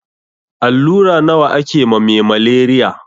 Allura nawa ake ma me maleriya?